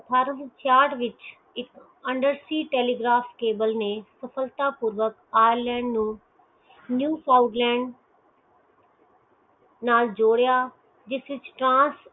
ਅਠਾਰਸੋ ਅਠਾਠ ਵਿਚ ਇਕ industry telegraph ਤਬਲੇ ਵਿਚ ਕਾਬਲੇ ਨੈ ਸਫਲਤਾ ਪੂਰਵਕ ਆਈ ਲੈਂਡ ਨੂੰ ਨਿਊ ਫੌਂਡ ਲੈਂਡ ਨਾਲ ਜੋੜਿਆ